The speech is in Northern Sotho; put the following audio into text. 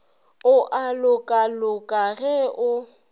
o a lokaloka ge o